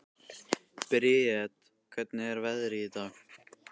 Briet, hvernig er veðrið í dag?